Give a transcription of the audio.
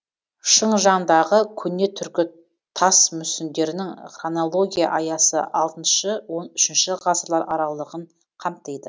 шыңжаңдағы көне түркі тас мүсіндерінің хронология аясы алтыншы он үшінші ғасырлар аралығын қамтиды